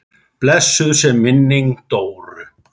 Blessuð sé minning Dóru.